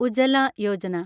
Ujjwala Yojana